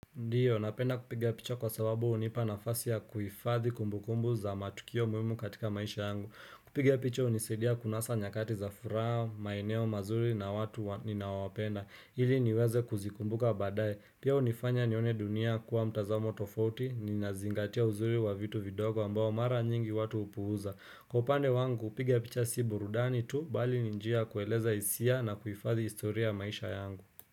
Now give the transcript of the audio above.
Ndiyo, napenda kupigia picha kwa sababu hunipa nafasi ya kuhifadhi kumbu kumbu za matukio muhimu katika maisha yangu. Kupiga picha hunisaidia kunasa nyakati za furaha, maeneo mazuri na watu ninaowapenda. Ili niweze kuzikumbuka badaye. Pia unifanya nione dunia kuwa mtazamo tofauti, ninazingatia uzuri wa vitu vidogo ambao mara nyingi watu hupuuza. Kwa upande wangu, kupiga picha si burudani tu, bali ni njia ya kueleza hisia na kuhifadhi historia ya maisha yangu.